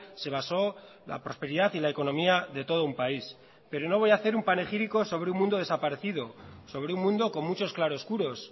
se basó la prosperidad y la economía de todo un país pero no voy a hacer un panegírico sobre un mundo desaparecido sobre un mundo con muchos claroscuros